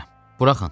Buraxın.